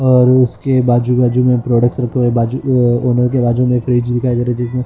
और उसके बाजू बाजू में प्रोडक्ट्स रखे हुए बाजू अ ऑनर के बाजू में फ्रिज भी दिखाई दे रही जिसमें--